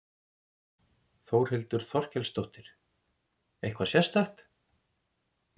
Þórhildur Þorkelsdóttir: Eitthvað sérstakt?